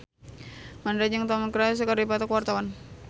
Mandra jeung Tom Cruise keur dipoto ku wartawan